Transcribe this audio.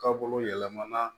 Ka bolo yɛlɛmana